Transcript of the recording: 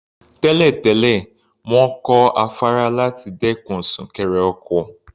Tẹ́lẹ̀ tẹ́lẹ̀, wọ́n kọ́ afárá láti dẹ́kun súnkẹrẹ ọkọ̀.